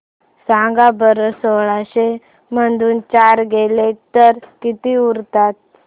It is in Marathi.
सांगा बरं सोळाशे मधून चार गेले तर किती उरतात